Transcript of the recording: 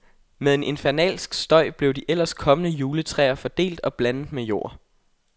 Med en infernalsk støj blev de ellers kommende juletræer findelt og blandet med jord.